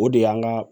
O de y'an ka